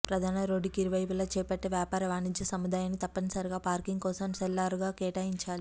ప్రధాన రోడ్డుకు ఇరువైపులా చేపట్టే వ్యాపార వాణిజ్య సముదాయానికి తప్పనిసరిగా పార్కింగ్ కోసం సెల్లార్లను కేటాయించాలి